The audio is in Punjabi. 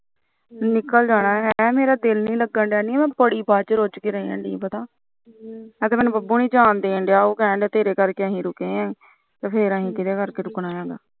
ਨਿਕਲ ਜਾਣਾ ਮੇਰਾ ਦਿਲ ਨੀ ਲਗਦਾ ਨੀ ਮੈ ਬੜੀ ਬੱਝ ਰੁਝ ਕੇ ਰਹੀ ਹਜੇ ਤਾ ਮੈਨੂੰ ਬੱਬੂ ਨੀ ਜਾਣਡੇ ਰਿਹਾ ਉਹ ਕਹਿਦਾ ਅਸੀ ਤੇਰੇ ਕਰਕੇ ਰੁਕੇ ਤੇ ਫਿਰ ਅਸੀ ਕਿਹਦੇ ਕਰਕੇ ਰੁਕਣਾ